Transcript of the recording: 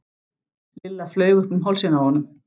Lilla flaug upp um hálsinn á honum.